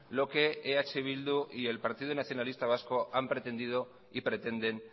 lo que eh bildu y el partido nacionalista vasco han pretendido y pretenden